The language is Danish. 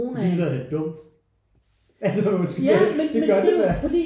Det lyder da dumt altså undskyld men det gør det da